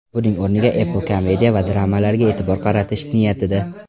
Buning o‘rniga Apple komediya va dramalarga e’tibor qaratish niyatida.